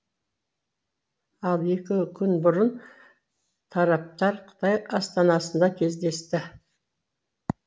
ал екі күн бұрын тараптар қытай астанасында кездесті